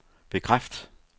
bekræft